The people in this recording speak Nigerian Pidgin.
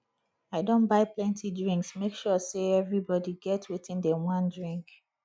i don buy plenty drinks make sure sey everybodi get wetin dem wan drink